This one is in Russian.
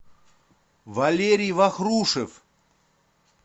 валерий вахрушев